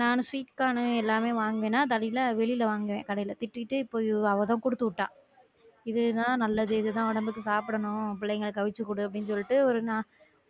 நானும் sweet corn எல்லாமே வாங்குனன் வெளில வாங்குவன் கடையில திட்டிட்டு இப்ப அவ தான் குடுத்துட்டா இது தான் நல்லது இது தான் நமக்கு சாப்டனும் பிள்ளைங்களுக்கு அவிச்சி குடு அப்டின்னு சொல்ட்டு ஒரு நா